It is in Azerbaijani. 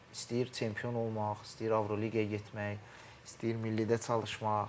İstəyir çempion olmaq, istəyir Avroliqaya getmək, istəyir millidə çalışmaq.